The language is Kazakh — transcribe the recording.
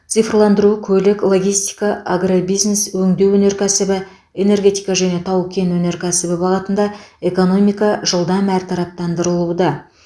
цифрландыру көлік логистика агробизнес өңдеу өнеркәсібі энергетика және тау кен өнеркәсібі бағытында экономика жылдам әртараптандырылуда